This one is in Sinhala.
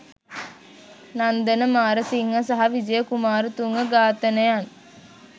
නන්දන මාරසිංහ සහ විජය කුමාරතුංග ඝාතනයන්